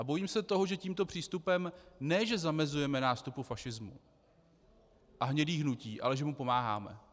A bojím se toho, že tímto přístupem ne že zamezujeme nástupu fašismu a hnědých hnutí, ale že mu pomáháme.